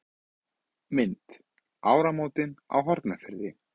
Mynd: Áramótin á Hornafirði.